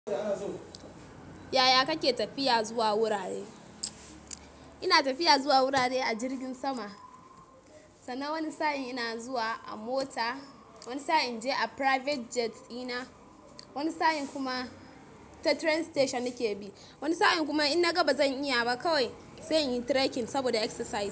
Yaya kake tafiya zuwa wurare? Ina tafiya zuwa wurare a jirgin sama, sannan wani sa'in ina zuwa a mota, wani sa'in je a private jet ina, wani sa'in kuma ta train station nake bi. Wani sa'in kuma in na ga bazan iya ba kawai sai in yi trekking saboda exercise.